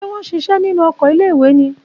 Ṣé wọn ṣiṣẹ́ nínú oko iléìwè ni?